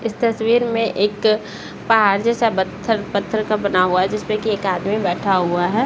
इस तस्वीर में एक पहाड़ जैसा बत्थर पत्थर का बना हुआ है जिस पर की एक आदमी बैठा हुआ है।